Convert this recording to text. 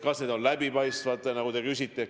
Kas need otsused on läbipaistvad, nagu te küsite?